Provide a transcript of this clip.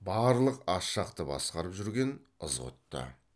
барлық ас жақты басқарып жүрген ызғұтты